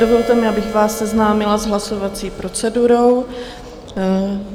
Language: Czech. Dovolte mi, abych vás seznámila s hlasovací procedurou.